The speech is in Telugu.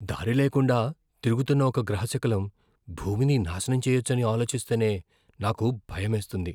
దారిలేకుండా తిరుగుతున్న ఒక గ్రహశకలం భూమిని నాశనం చేయచ్చని ఆలోచిస్తేనే నాకు భయమేస్తుంది.